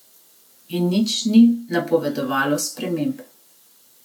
In nič ni napovedovalo sprememb.